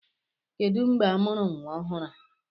Kedụ mgbe amụrụ nwa ọhụrụ a!